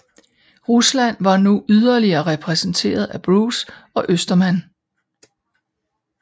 Rusland var nu ydeligere repræsenteret af Bruce og Ostermann